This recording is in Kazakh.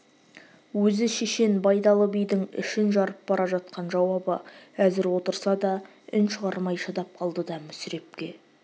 өзі шешен байдалы бидің ішін жарып бара жатқан жауабы әзір отырса да үн шығармай шыдап қалды да мүсірепке